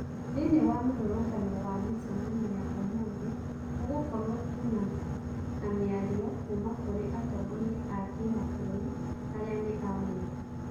Thiinie wa mirũrũngano wa micemanio ya ũmũthi gũgũkorwo tu na miario kuuma kũri atongoria a Kimabũrũri aria ni ameba.